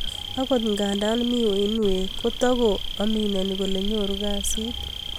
Akot nda mii uiinweek kotako amineni kole nyoruu kasiit